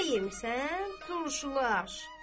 Nə yemisən, turşulaş!